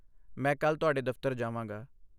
ਮੈਂ ਕੱਲ੍ਹ ਤੁਹਾਡੇ ਦਫ਼ਤਰ ਜਾਵਾਂਗਾ।